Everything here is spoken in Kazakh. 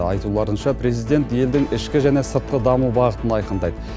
айтуларынша президент елдің ішкі және сыртқы даму бағытын айқындайды